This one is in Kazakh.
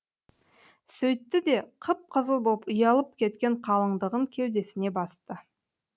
сөйтті де қып қызыл боп ұялып кеткен қалыңдығын кеудесіне басты